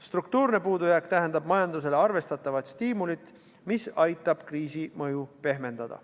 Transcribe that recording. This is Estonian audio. Struktuurne puudujääk tähendab majandusele arvestatavat stiimulit, mis aitab kriisi mõju pehmendada.